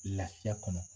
Lafiya kɔnɔ